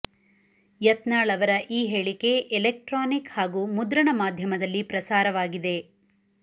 ಯತ್ನಾಳ್ ಅವರ ಈ ಹೇಳಿಕೆ ಎಲೆಕ್ಟ್ರಾನಿಕ್ ಹಾಗೂ ಮುದ್ರಣ ಮಾಧ್ಯಮದಲ್ಲಿ ಪ್ರಸಾರವಾಗಿದೆ